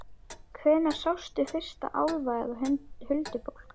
Hvenær sástu fyrst álfa eða huldufólk?